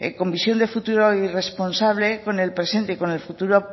con visión de futuro y responsable con el presente y con el futuro